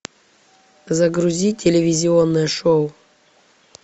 загрузи телевизионное шоу